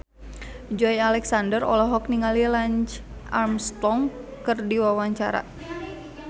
Joey Alexander olohok ningali Lance Armstrong keur diwawancara